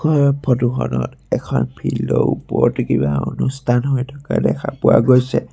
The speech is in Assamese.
ওপৰৰ ফটো খনত এখন ফিল্ড ৰ ওপৰতে কিবা অনুষ্ঠান হৈ থকা দেখা পোৱা গৈছে।